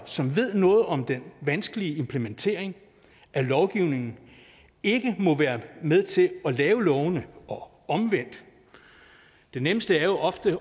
som ved noget om den vanskelige implementering af lovgivningen ikke må være med til at lave lovene og omvendt det nemmeste er jo ofte